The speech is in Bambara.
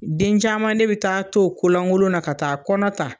Den caman ne be taa t'o ko laŋolow na ka taa kɔnɔ ta